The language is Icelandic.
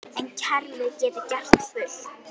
En kerfið getur gert fullt.